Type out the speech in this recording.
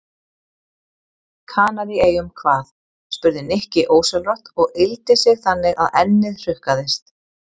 Kanaríeyjum hvað? spurði Nikki ósjálfrátt og yggldi sig þannig að ennið hrukkaðist.